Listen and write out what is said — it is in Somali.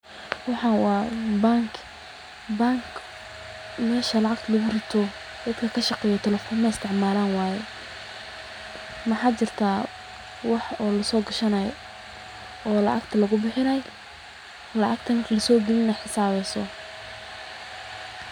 Waxaan waa bangi, meesha lacagta lagu Ruto, dadka lashaqeeyo telefoon aay isticmaalan, waxaa jira wax lacagta lagu soo bixinaaya oona xisabbeyso.